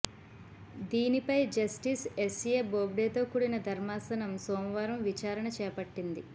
దీనిపై justice S A బోబ్డేతో కూడిన ధర్మాసనం సోమవారం విచారణ చేపట్టింది